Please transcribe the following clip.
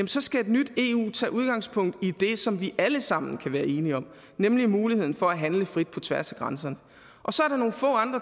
så skal et nyt eu tage udgangspunkt i det som vi alle sammen kan være enige om nemlig muligheden for at handle frit på tværs af grænser